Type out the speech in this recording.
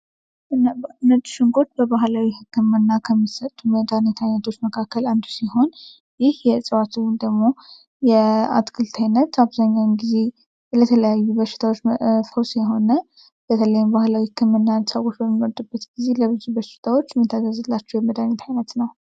ነጭ ሽንኩርት በባህላዊ ህክምና መድኃኒታችን መካከል አንዱ ሲሆን ይህ የእዋቱን ደግሞ የአትክልት አብዛኛውን ጊዜ የተለያዩ በሽታዎች ፈውስ የሆነ በተለይም ባህላዊ ህክምናን ሰዎች በሚመርጡበት ጊዜ ለብዙ በሽታዎች የሚታዛዝላቸው የመድሃኒት አይነት ነው።